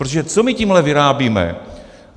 Protože co my tímhle vyrábíme?